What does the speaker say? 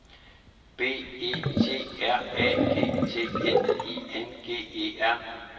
B E T R A G T N I N G E R